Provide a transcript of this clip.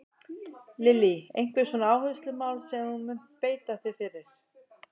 Lillý: Einhver svona áherslumál sem að þú munt beita þér fyrir?